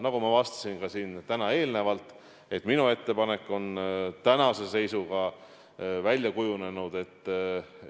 Nagu ma avastasin täna ka eelnevalt, minu ettepanek on tänase seisuga välja kujunenud, et 1. mail eriolukorrast välja tulla me ei saa, seda tuleb pikendada vähemalt kaks nädalat.